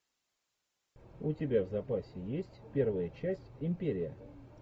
у тебя в запасе есть первая часть империя